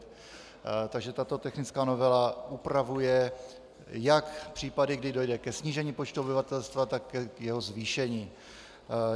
Takže tato technická novela upravuje jak případy, kdy dojde ke snížení počtu obyvatelstva, tak k jeho zvýšení.